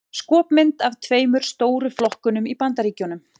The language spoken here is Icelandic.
Skopmynd af tveimur stóru flokkunum í Bandaríkjunum.